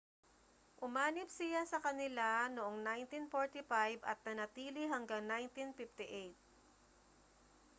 umanib siya sa kanila noong 1945 at nanatili hanggang 1958